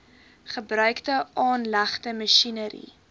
gebruikte aanlegte masjinerie